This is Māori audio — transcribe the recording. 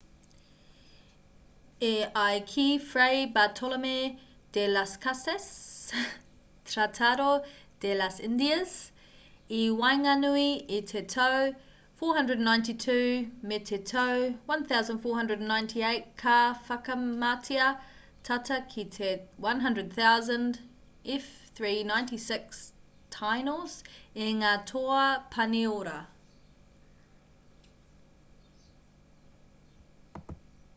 e ai ki fray bartolome de las casas tratado de las indias i waenganui i te tau 492 me te tau 1498 ka whakamatea tata ki te 100,000 f396tainos e ngā toa pāniora